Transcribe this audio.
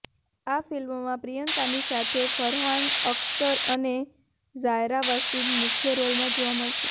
આ ફિલ્મમાં પ્રિયંકાની સાથે ફરહાન અખ્તર અને ઝાયરા વસીમ મુખ્ય રોલમાં જોવા મળશે